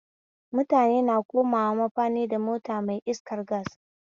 Mutane na komawa mafani da mota mai iskar gas